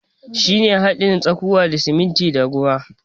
Shi ne hadin tsakuwa da sumuntin da ruwa.